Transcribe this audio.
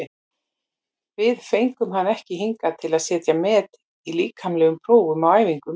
Við fengum hann ekki hingað til að setja met í líkamlegum prófum á æfingum.